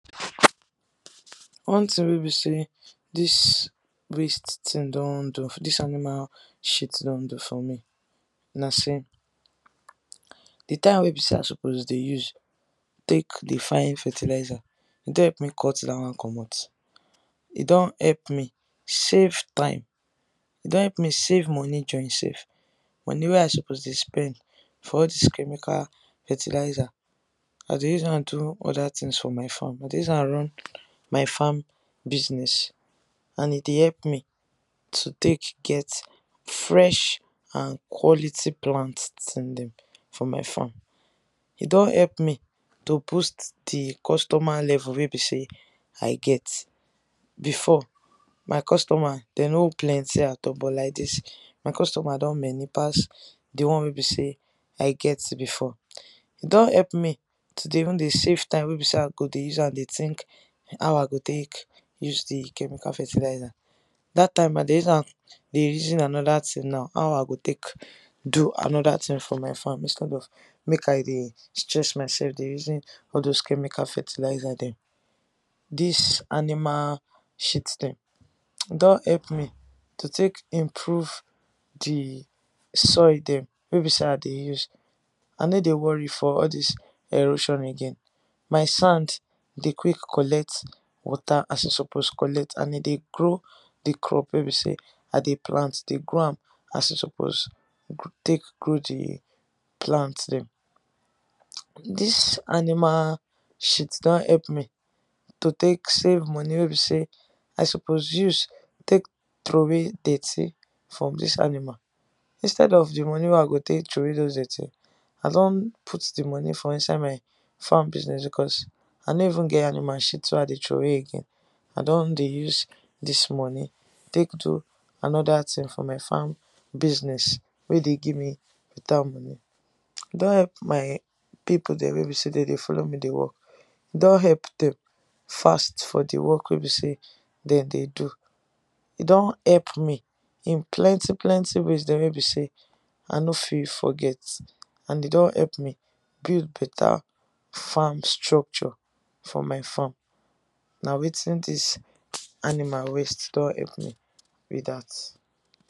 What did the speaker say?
One tin wey be say this waste thing don do this animal shit don do for me na say, d time wey be say I suppose de use take de fine fertiliser, e don help me cut that one comot, e don help me save time, e don help me save money join sef, money wey I suppose de spend for all this chemical fertiliser, I de use am do other things for my farm, I de use am run my farm business and e de help me to take get fresh and quality plant dem for my farm, e don help me to boost d customer level wey be say I get, before my customer dem no plenty at all but like this, my customer don many pass the one wey be say I get before. E don epp me to de even de save time wey be say I go de use am de think how I go take use d chemical fertiliser, that time I de use am de reason another thing now. How I go take do another thing for my farm, instead of make I de stress myself de reason all those chemical fertiliser dem. This animal shit dem don help me to take improve d soil dem wey be say I de use, I no de worry for all dis erosion again. My sand de quick collect water as e suppose collect and e de grow d crop wey be say I de plant, e de grow am as e suppose take grow d plant dem. This animal shit don help me to take save money wey be say I suppose use take troway dirty from this animal, instead of the money wey I go take troway those dirty, I don put d money for inside my farm business because I no even get animal shit wey I de troway again, I don de use this money take do another tin for my farm business wey de give me better money, e don help my people dem wey be say dem de follow me de work, e don help them fast for d work wey be say dem de do e don help me in plenty plenty place wey be say I no fit forget, and e don help me build better farm structure for my farm na wetin this animal waste don epp me be that.